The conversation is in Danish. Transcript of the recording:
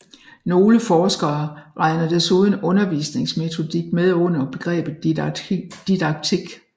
Nogle forskere regner desuden undervisningsmetodik med under begrebet didaktik